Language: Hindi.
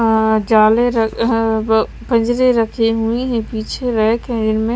अ जाले रख अ ब बजरे रखी हुयी है पीछे रैक है जिनमें --